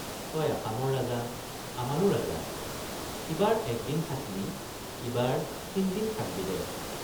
তই আসামৰ ৰাজা আমাৰো ৰাজা সিবাৰ একদিন থাক্‌লি ইবাৰ তিনদিন থাক্‌বি দে।